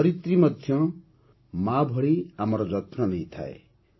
ଧରିତ୍ରୀ ମଧ୍ୟ ମାଁ ଭଳି ଆମ ଯତ୍ନ ନେଇଥାଏ